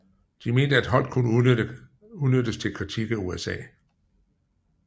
De mente at Holdt kunne udnyttes til kritik af USA